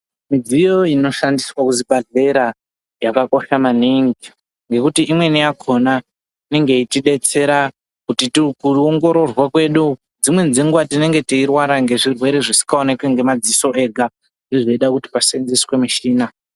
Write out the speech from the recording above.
Midziyo inoshandiswq kuzvibhedhlera yakakosha maningi nekuti imweni yakona inenge yeitibetsera mukuongororwa kwedu dzimweni dzenguva tinenge teirwara nezvirwere zvisikaoneki ngemadziso zvinoita kuti pasenzeswe michina .